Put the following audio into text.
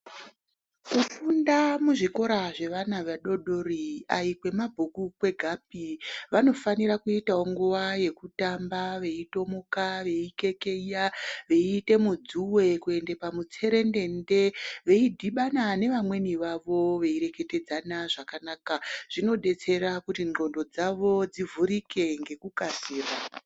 Kufunda muzvikora zvevana vadodori aikwemabhuku kwegapi vanofanira kuitawo nguva yekutamba veitomuja veikekeya veiite mudzuwe kuende pamutserendende veidhibana nevamweni vavo veireketedzana zvakanaka zvinodetsera kuti ndxondo dzavo dzivhurike ngekukasira